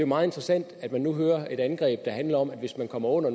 meget interessant at man nu kører et angreb der handler om at hvis den kommer under